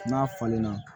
N'a falenna